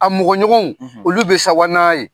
A mɔgɔ ɲɔgɔnw, olu be sawa n'a ye.